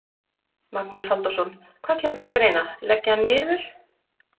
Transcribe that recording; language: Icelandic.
Magnús Halldórsson: Hvað kemur til greina, leggja hann niður?